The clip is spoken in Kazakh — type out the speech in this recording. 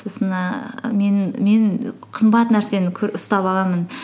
сосын ііі мен қымбат нәрсені ұстап аламын